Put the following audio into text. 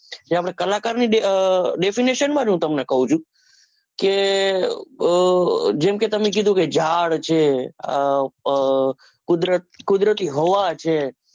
જે આપણે કલાકાર ની definition હું તમેન કવું છુ કે જેમ કે તમે જે બધું ઝાડ છે કુદરતી હવા છે